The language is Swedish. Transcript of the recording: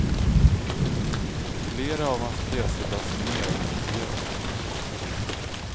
Flera av hans pjäser lades ner och förbjöds.